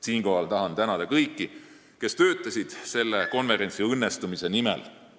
Siinkohal tahan tänada kõiki, kes töötasid selle konverentsi õnnestumise nimel.